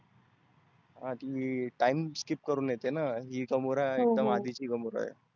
हा ती time skip करुण येतेना. ही gamora एकदम आदीची gamora आहे.